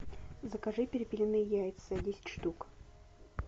закажи перепелиные яйца десять штук